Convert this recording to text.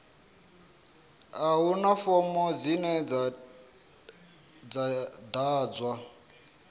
a huna fomo dzine dza ḓadzwa